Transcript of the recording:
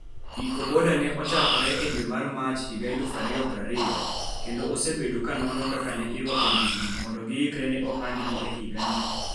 Ecobodaa ne ochakore e dwe mar Mach 2020 kendo osebedo ka nono kaka ne irwako ndigni mondo giikre ne ohandgi e higani.